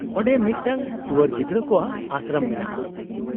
-ᱚᱸᱰᱮ ᱢᱤᱫᱴᱟᱧᱝ ᱴᱩᱣᱟᱹᱨ ᱜᱤᱫᱽᱨᱟᱹ ᱠᱚᱣᱟᱜ ᱟᱥᱨᱚᱢ ᱢᱮᱱᱟᱜᱼᱟ ᱾